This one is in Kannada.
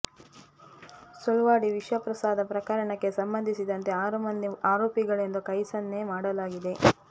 ಸುಳ್ವಾಡಿ ವಿಷ ಪ್ರಸಾದ ಪ್ರಕರಣಕ್ಕೆ ಸಂಬಂಧಿಸಿದಂತೆ ಆರು ಮಂದಿ ಆರೋಪಿಗಳೆಂದು ಕೈ ಸನ್ನೆ ಮಾಡಲಾಗಿದೆ